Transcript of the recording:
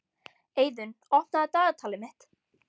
Eiðunn, opnaðu dagatalið mitt.